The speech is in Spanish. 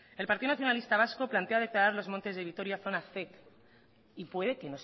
el partido nacionalista vasco plantea declarar los montes de vitoria zona zec y puede que